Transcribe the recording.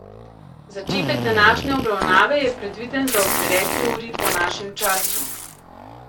Začetek današnje obravnave je predviden za ob deveti uri po našem času.